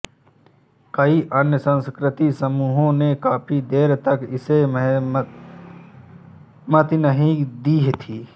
कई अन्य सांस्कृतिक समूहों ने काफी देर तक इसे सहमति नहीं दी थी